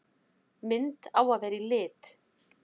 Mynd á að vera í lit.